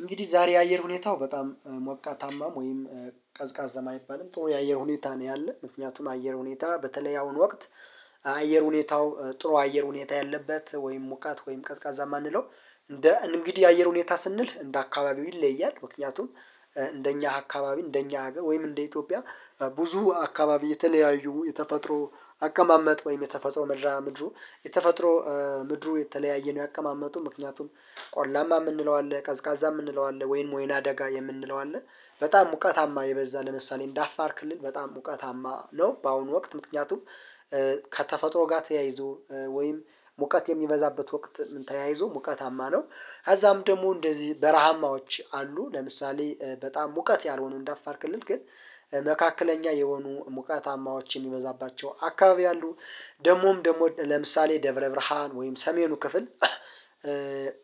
እንግዲህ ዛሬ የአየር ሁኔታው በጣም ሞቃታማም ወይም ቀዝቃዝም አይባልም ጥሩ የአየር ሁኔታ ነው ያለው። ምክንያቱም አየር ሁኔታ በተለይ ያሁን ወቅት አየር ሁኔታው ጥሩ አየር ሁኔታ ያለበት ወይም ሙቃት ወይም ቀዝቃዛ የማንለው እንደ እንግዲህ የአየር ሁኔታ ስንል እንደ አካባቢው ይለያል። ምክንያቱም እንደኛ አካባቢ እንደኛ ሀገር ወይም እንደ ኢትዮጵያ ብዙ አካባቢ የተለያዩ የተፈጥሮ አከማመጥ ወይም የተፈጥሮ ምድሩ የተፈጥሮ ምድሩ የተለያየ ነው ያቀማመጡ ምክንያቱም ቆላማ የምንለው አለ ቀዝቃዛ የምንለው አለ ወይንም ወይናደጋ የምንለው አለ። በጣም ሙቀታማ የበዛ ለምሳሌ እንደ አፋር ክልልል በጣም ሙቀታማ ነው። በአሁኑ ወቅት ምክንያቱም ከተፈጥሮ ጋር ተያይዞ ወይም ሙቀት የሚበዛበት ወቅት ተያይዞ ሙቀታማ ነው ከዛም ደግሞ እንደዚህ በረሃማዎች አሉ። ለምሳሌ በጣም ሙቀት ያልሆኑ እንደ አፋር ክልል ግን መካከለኛ የሆኑ ሙቀታማዎች የሚበዛባቸው አካባቢ አሉ። ደግሞም ደግሞ ለምሳሌ ደብረ ብርሃን ወይም ሰሜኑ ክፍል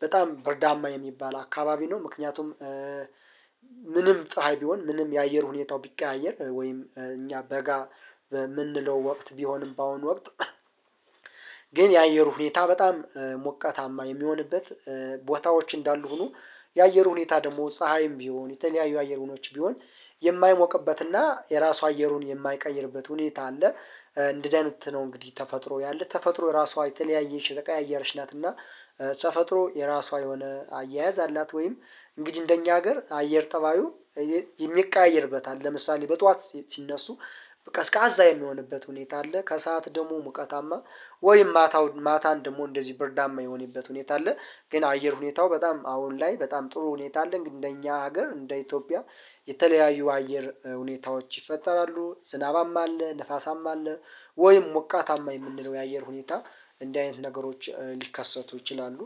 በጣም ብርዳማ የሚባል አካባቢ ነው። ምክንያቱም ምንም ፀሀይ ቢሆን ምንም የአየር ሁኔታው ቢቀያየር ወይም እኛ በጋ በምንለው ወቅት ቢሆንም በአሁኑ ወቅት ግን የአየሩ ሁኔታ በጣም ሞቀታማ የሚሆንበት ቦታዎች እንዳሉ ሁኖ የአየር ሁኔታ ደግሞ ፀሀይም ቢሆን የተለያዩ አየር ሁኖች ቢሆን የማይሞቅበትና የራሱ አየሩን የማይቀይርበት ሁኔታ አለ። እንደዚ አይነት ነው እንግዲህ ተፈጥሮ ያለ ተፈጥሮ የራሷ የተለያየች የተቀያየች ናት። እና ተፈጥሮ የራሷ የሆነ አያያዝ አላት። ወይም እንግዲህ እንደኛ ሀገር አየር ጠባዩ የሚቀያየርበት አለ። ለምሳሌ በጧት ሲነሱ ቀስቃዛ የሚሆንበት ሁኔታ አለ። ከሰአት ደግሞ ሙቀታማ ወይም ማታ ማታን ደግሞ እንደዚህ ብርዳማ የሆነበት ሁኔታ አለ። ግን አየር ሁኔታው በጣም አሁን ላይ በጣም ጥሩ ሁኔታ አለ። ግን እንደኛ ሀገር እንደ ኢትዮጵያ የተለያዩ አየር ሁኔታዎች ይፈጠራሉ ዝናባማ አለ ንፋሳማ አለ ወይም ሞቃታማ የምንለው የአየር ሁኔታ እንዲህ አይነት ነገሮች ሊከሰቱ ይችላሉ